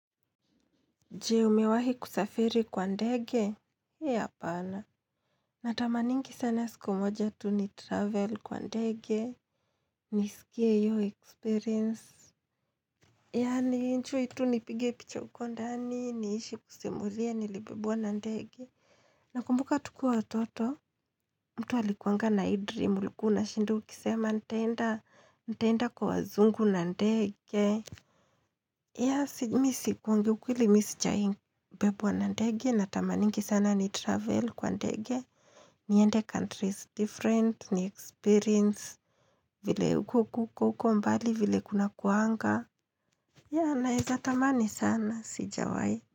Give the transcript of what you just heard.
Je umewahi kusafiri kwa ndege? He He apana. Natamaningi sana siku moja tu ni travel kwa ndege. Nisikie iyo experience. Yani nienjoy tu nipige picha huko ndani niishi kusimulia nilibebwa na ndege. Nakumbuka tukua watoto mtu alikuanga na hii dream ulikua unashinda ukisema nitaenda nitaenda kwa wazungu na ndege. Yeah si mi kuongea ukweli mi sijai n bebwa na ndege natamaningi sana ni travel kwa nandege niende countries different, ni experience vile ukokokukuku mbali vile kunakuanga yeah naeza tamani sana sijawai.